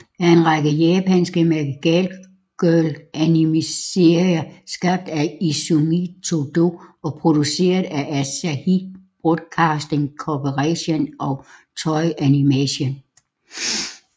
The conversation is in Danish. er en række japanske magical girl animeserier skabt af Izumi Todo og produceret af Asahi Broadcasting Corporation og Toei Animation